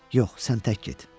Yox, sən tək get.